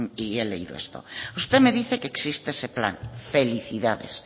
he leído esto usted me dice que existe ese plan felicidades